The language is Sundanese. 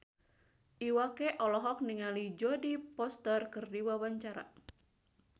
Iwa K olohok ningali Jodie Foster keur diwawancara